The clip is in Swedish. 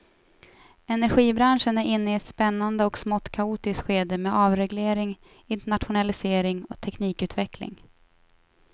Energibranschen är inne i ett spännande och smått kaotiskt skede med avreglering, internationalisering och teknikutveckling.